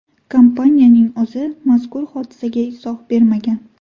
Kompaniyaning o‘zi mazkur hodisaga izoh bermagan.